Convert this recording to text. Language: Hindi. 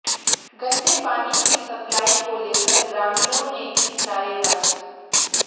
गन्दे पानी की सप्लाई को लेकर ग्रामीणों ने की नारेबाजी